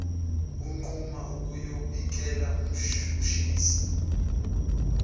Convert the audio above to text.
unquma ukuyobikela umshushisi